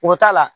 O t'a la